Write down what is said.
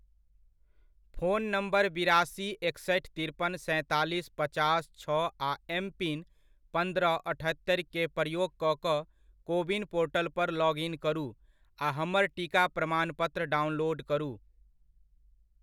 Phone number बिरासी एकसठि तिरपन सैंतालिस पचास छओ आ एम पिन पन्द्रह अठत्तरिक प्रयोग कऽ कऽ कोविन पोर्टलपर लॉग इन करू आ हमर टीका प्रमाणपत्र डाउनलोड करू।